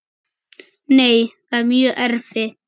Nei, það er mjög erfitt.